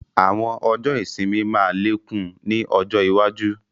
Àwọn ọjọ́ ìsinmi máa lékún ni ọjọ́ iwaju